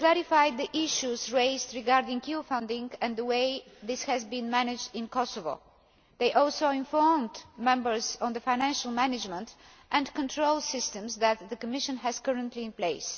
They clarified the issues raised regarding EU funding and the way this has been managed in Kosovo. They also informed members on the financial management and control systems that the Commission has currently in place.